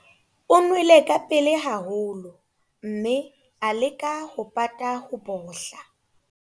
O nwele ka pele haholo mme a leka ho pata ho bohla.